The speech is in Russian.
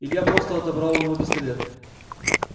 илья просто отобрал у него пистолет